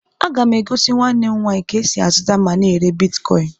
A ga m egosi nwa Nne m nwaanyị ka e sị azuta ma na èrè bịtkọin